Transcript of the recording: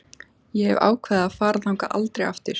Ég hef ákveðið að fara þangað aldrei aftur.